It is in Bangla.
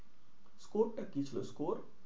Score টা কি ছিলো? score